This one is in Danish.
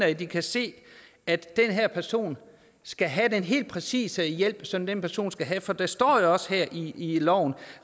at de kan se at den her person skal have den helt præcise hjælp som den person skal have for der står jo også her i loven